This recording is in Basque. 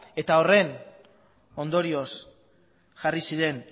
eta horren ondorioz jarri ziren